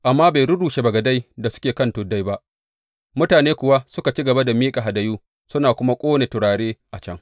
Amma bai rurrushe masujadai da suke kan tuddai ba, mutane kuwa suka ci gaba da miƙa hadayu suna kuma ƙone turare a can.